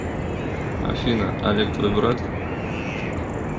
афина олег твой брат